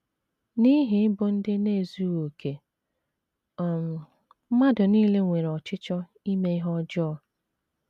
N’ihi ịbụ ndị na - ezughị okè, um mmadụ nile nwere ọchịchọ ime ihe ọjọọ.